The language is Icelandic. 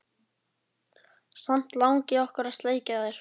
Samt langi okkur að sleikja þær.